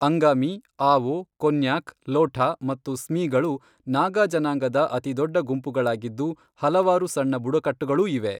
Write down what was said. ಅಂಗಾಮಿ, ಆವೋ, ಕೊನ್ಯಾಕ್, ಲೋಠಾ ಮತ್ತು ಸ್ಮಿಗಳು ನಾಗಾ ಜನಾಂಗದ ಅತಿದೊಡ್ಡ ಗುಂಪುಗಳಾಗಿದ್ದು, ಹಲವಾರು ಸಣ್ಣ ಬುಡಕಟ್ಟುಗಳೂ ಇವೆ.